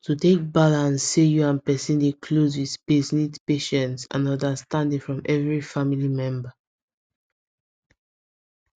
to take balance say you and person dey close with space need patience and understanding from every family member